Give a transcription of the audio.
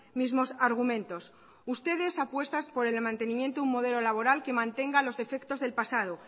mismos argumentos ustedes apuestan por el mantenimiento de un modelo laboral que mantenga los defectos del pasado